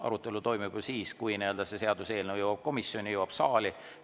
Arutelu toimub siis, kui see seaduseelnõu jõuab komisjoni ja hiljem jõuab saali.